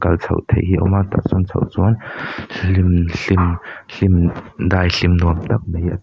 kal chhoh theih hi a awm a tah chuan chhoh chuan hlim hlim hlim daihlim nuam tak mai a--